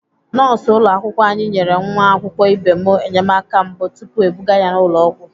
Nọọsụ ụlọakwụkwọ anyị nyere nwa akwụkwọ ibe m enyemaka mbụ tupu ebuga ya ụlọ ọgwụ.